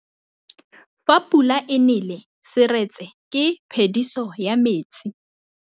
Fa pula e nelê serêtsê ke phêdisô ya metsi.